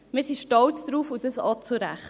Darauf sind wir stolz und dies auch zu Recht.